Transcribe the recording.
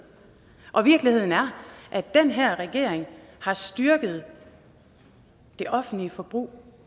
og virkeligheden er at den her regering har styrket det offentlige forbrug